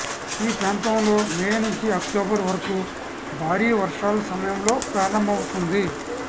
ఈ ప్రాంతంలో మే నుంచి అక్టోబర్ వరకు భారీ వర్షాలు సమయంలో ప్రారంభమవుతుంది